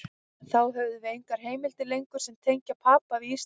Þá höfum við engar heimildir lengur sem tengja Papa við Ísland.